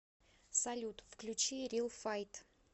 салют включи рил файт